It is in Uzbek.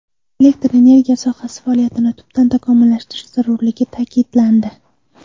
Elektr energetika sohasi faoliyatini tubdan takomillashtirish zarurligi ta’kidlandi.